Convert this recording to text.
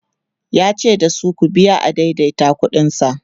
yace dasu "ku biya adaidaita ƙuɗin sa"